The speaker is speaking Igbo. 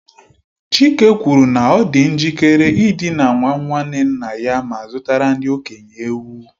Chike kwuru na ọ dị njikere ịdina nwa nwanne nna ya ma zụtara ndị okenye ewu.